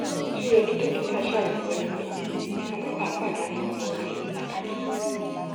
ó tún yẹ kí dókítà ṣàyẹwò ẹni náà kí a má bàa pàdánù àwọn àyẹwò pàtàkì